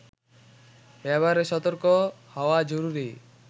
ব্যবহারে সতর্ক হওয়া জরুরি